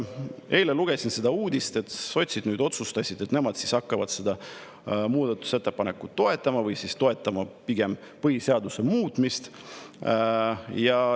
Eile lugesin uudist, et sotsid nüüd otsustasid, et nemad hakkavad seda muudatusettepanekut toetama või toetama pigem põhiseaduse muutmist.